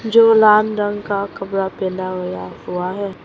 जो लांदन का कपड़ा पैदा होय हुआ है।